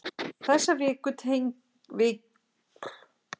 Þessi veiku tengi fara nú að verka á annan veg.